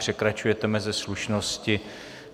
Překračujete meze slušnosti.